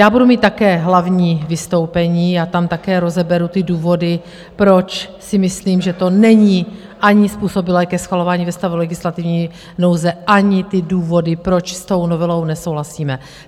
Já budu mít také hlavní vystoupení a tam také rozeberu ty důvody, proč si myslím, že to není ani způsobilé ke schvalování ve stavu legislativní nouze, ani (?) ty důvody, proč s tou novelou nesouhlasíme.